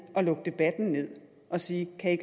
at lukke debatten ned og sige at